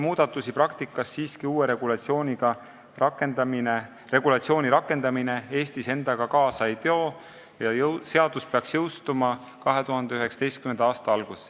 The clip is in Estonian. Kokku võttes uue regulatsiooni rakendamine Eestis suuri muudatusi praktikas endaga siiski kaasa ei too ja seadus peaks jõustuma 2019. aasta alguses.